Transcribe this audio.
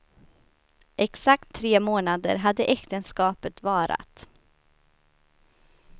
Exakt tre månader hade äktenskapet varat.